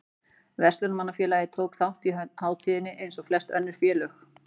Verslunarmannafélagið tók þátt í hátíðinni eins og flest önnur félög.